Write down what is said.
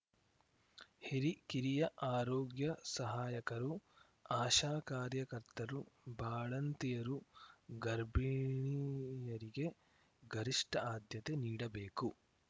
ಹಿರಿ ಕಿರಿಯ ಆರೋಗ್ಯ ಸಹಾಯಕರು ಆಶಾ ಕಾರ್ಯಕರ್ತರು ಬಾಣಂತಿಯರು ಗರ್ಭಿಣಿಯರಿಗೆ ಗರಿಷ್ಠ ಆದ್ಯತೆ ನೀಡಬೇಕು